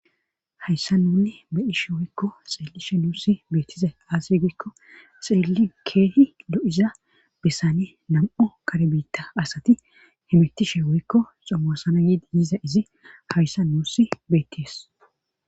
Hayssa nunne beyishe woykko xeellishe nuussi beettize aas giikko xeelli keehi lo'iza bessane nam'o kare biitta asati himittishe woykko xomosana yiidi yiiza izi hayssa nuusi betties.